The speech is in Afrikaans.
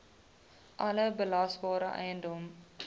alle belasbare eiendom